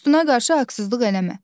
Dostuna qarşı haqsızlıq eləmə.